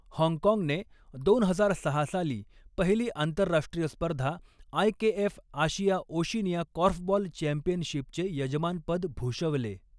हाँगकाँगने दोन हजार सहा साली पहिली आंतरराष्ट्रीय स्पर्धा, आयकेएफ आशिया ओशिनिया कॉर्फबॉल चॅम्पियनशिपचे यजमानपद भूषवले.